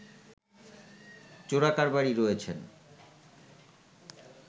চোরাকারবারি রয়েছেন